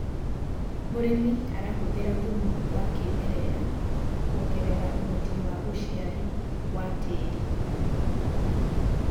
mũrĩmi arahuthira thumu wa kĩmerera kuongerera uhoti wa uciari wa tĩĩri